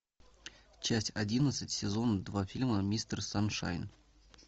часть одиннадцать сезон два фильма мистер саншайн